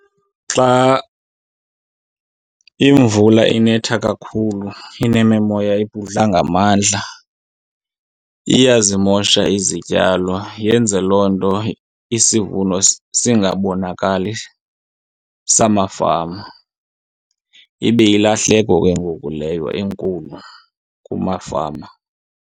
Xa imvula inetha kakhulu inemimoya ebhudla ngamandla iyazimosha izityalo, yenze loo nto isivuno singasabonakali samafama. Ibe yilahleko ke ngoku leyo enkulu kumafama.